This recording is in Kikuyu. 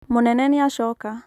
mũnene nĩacoka